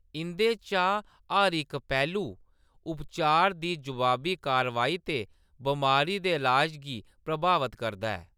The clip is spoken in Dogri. इंʼदे चा हर इक पैह्‌‌लू उपचार दी जवाबी-कारवाई ते बमारी दे ईलाज गी प्रभावत करदा ऐ।